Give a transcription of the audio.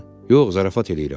Yox, zarafat eləyirəm.